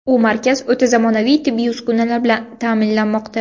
U markaz o‘ta zamonaviy tibbiy uskunalar bilan ta’minlanmoqda.